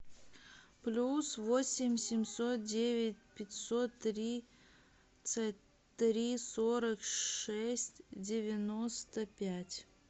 плюс восемь семьсот девять пятьсот тридцать три сорок шесть девяносто пять